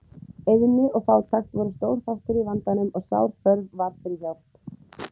Eyðni og fátækt voru stór þáttur í vandanum og sár þörf var fyrir hjálp.